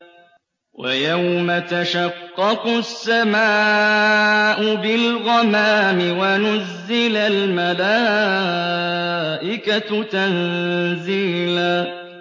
وَيَوْمَ تَشَقَّقُ السَّمَاءُ بِالْغَمَامِ وَنُزِّلَ الْمَلَائِكَةُ تَنزِيلًا